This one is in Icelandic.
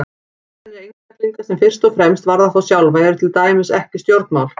Ákvarðanir einstaklinga sem fyrst og fremst varða þá sjálfa eru til dæmis ekki stjórnmál.